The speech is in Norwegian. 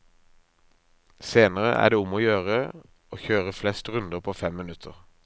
Senere er det om å gjøre å kjøre flest runder på fem minutter.